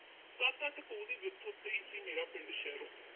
ਸੱਤ-ਅੱਠ ਕੋਹ ਦੀ ਵਿੱਥ ਉੱਤੇ ਹੀ ਸੀ, ਮੇਰਾ ਪਿੰਡ ਸ਼ਹਿਰੋਂ